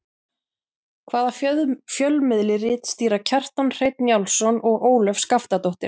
Hvaða fjölmiðli ritstýra Kjartan Hreinn Njálsson og Ólöf Skaftadóttir?